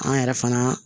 An yɛrɛ fana